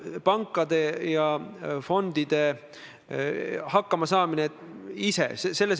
Kindlasti pannakse ühel päeval Stenbocki maja seinale ka teie pilt.